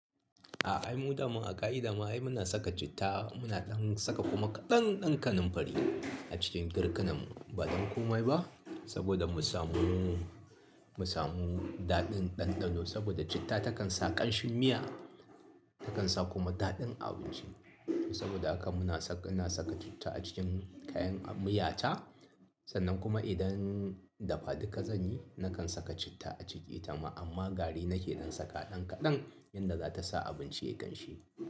A'a ai mu daman a ƙaki dama ai muna saka citta, muna ɗan saka kuma kaɗan ɗan kanunfari a cikin girkinan mu ba ɗan komai ba saboda mu samu, mu samu daɗin ɗanɗano saboda citta takan sa ƙanshin miya, takan sa kuma daɗin abinci. Saboda haka muna saka, ina saka citta a cikin kayan a miyata sannan kuma idan dafaduka zanyi nakan saka citta a ciki itama ama gari nake saka wa dan kadan yarda zata sa abinchi yayi kamshi.